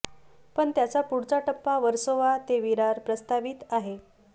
पण त्याचा पुढचा टप्पा वर्सोवा ते विरार प्रस्तावित आहे